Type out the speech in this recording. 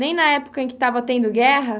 Nem na época em que estava tendo guerra?